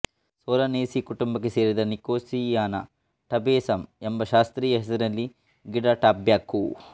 Solanaceae ಕುಟುಂಬಕ್ಕೆ ಸೇರಿದ Nicotiana tabacum ಎಂಬ ಶಾಸ್ತ್ರೀಯ ಹೆಸರಿನ ಗಿಡ ಟಬ್ಯಾಕೊ